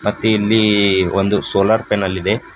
ಮತ್ತೆ ಇಲ್ಲಿ ಒಂದು ಸೋಲಾರ್ ಪ್ಯಾನೆಲ್ ಇದೆ.